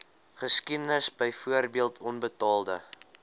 geskiedenis byvoorbeeld onbetaalde